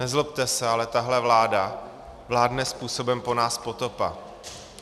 Nezlobte se, ale tahle vláda vládne způsobem po nás potopa.